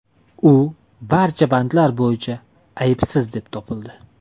U barcha bandlar bo‘yicha aybsiz deb topildi.